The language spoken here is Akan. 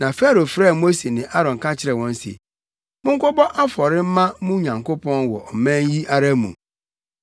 Na Farao frɛɛ Mose ne Aaron ka kyerɛɛ wɔn se, “Monkɔbɔ afɔre mma mo Nyankopɔn wɔ ɔman yi ara mu.”